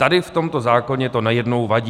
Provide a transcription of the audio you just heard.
Tady v tomto zákoně to najednou vadí.